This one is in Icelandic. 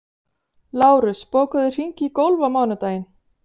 Lárus, bókaðu hring í golf á mánudaginn.